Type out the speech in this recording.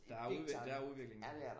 Der er udvikling der er udvikling